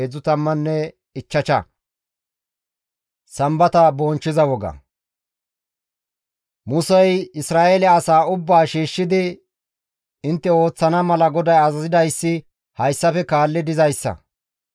Musey Isra7eele asaa ubbaa shiishshidi, «Intte ooththana mala GODAY azazidayssi hayssafe kaalli dizayssa.